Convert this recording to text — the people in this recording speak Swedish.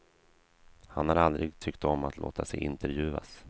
Han har aldrig tyckt om att låta sig intervjuas.